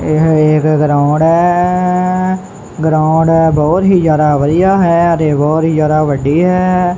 ਏਹ ਇੱਕ ਗਰਾਊਂਡ ਹੈ ਗਰਾਊਂਡ ਬੋਹੁਤ ਹੀ ਜਿਆਦਾ ਵਧੀਆ ਹੈ ਅਤੇ ਬੋਹੁਤ ਹੀ ਜਿਆਦਾ ਵੱਡੀ ਹੈ।